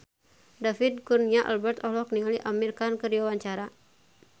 David Kurnia Albert olohok ningali Amir Khan keur diwawancara